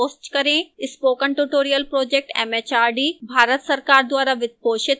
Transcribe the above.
spoken tutorial project mhrd Bharat सरकार द्वारा वित्त पोषित है